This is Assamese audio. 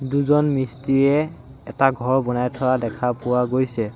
দুজন মিস্ত্ৰিয়ে এটা ঘৰ বনাই থোৱা দেখা পোৱা গৈছে।